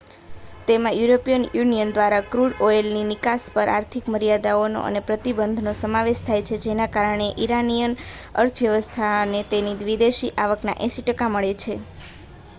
તેમાં European union દ્વારા crude ઑઇલની નિકાસ પર આર્થિક મર્યાદાઓનો અને પ્રતિબંધનો સમાવેશ થાય છે જેના કારણે ઇરાનિયન અર્થવ્યવસ્થાને તેની વિદેશી આવકના 80% મળે છે